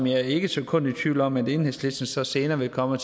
er ikke et sekund i tvivl om at enhedslisten så senere vil komme og